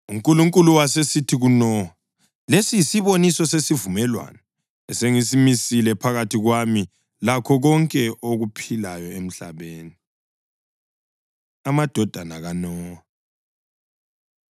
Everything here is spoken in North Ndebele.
UNkulunkulu wasesithi kuNowa, “Lesi yisiboniso sesivumelwano esengisimisile phakathi kwami lakho konke okuphilayo emhlabeni.” Amadodana KaNowa